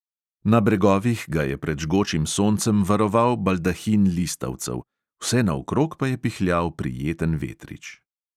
Na bregovih ga je pred žgočim soncem varoval baldahin listavcev, vsenaokrog pa je pihljal prijeten vetrič.